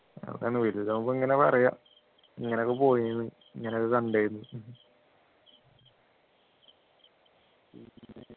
അവസാനം വലുതാവുമ്പോ ഇങ്ങനെ പറയാം ഇങ്ങനെയൊക്കെ പോയിന്നു ഇങ്ങനെയൊക്കെ കണ്ടിന്നു